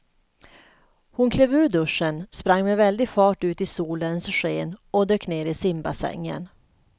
Hon klev ur duschen, sprang med väldig fart ut i solens sken och dök ner i simbassängen.